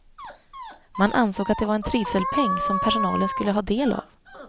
Man ansåg att det var en trivselpeng som personalen skulle ha del av.